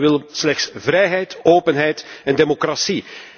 De bevolking wil slechts vrijheid, openheid en democratie.